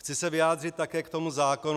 Chci se vyjádřit také k tomu zákonu.